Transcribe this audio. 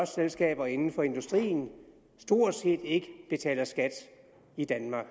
selskaber inden for industrien stort set ikke betaler skat i danmark